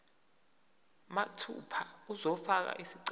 mathupha uzofaka isicelo